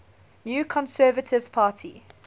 new conservative party